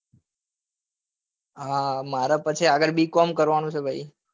હા મારે પછી આગળ b com કરવા નું છે ભાઈ